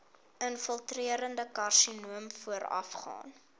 infiltrerende karsinoom voorafgaan